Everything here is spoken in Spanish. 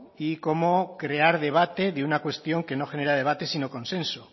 y cómo crear debate de una cuestión que no genera debate sino consenso